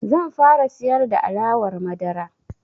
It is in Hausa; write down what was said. Zan fara siyar da alawar madara.